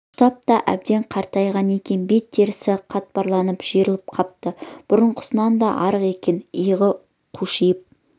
ұштап та әбден қартайған екен бет терісі қатпарланып жиырылып қапты бұрынғысынан да арық екі иығы қушиып